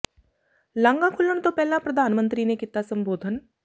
ਲਾਂਘਾ ਖੁੱਲਣ ਤੋਂ ਪਹਿਲਾਂ ਪ੍ਰਧਾਨ ਮੰਤਰੀ ਨੇ ਕੀਤਾ ਸੰਬੋਧਨ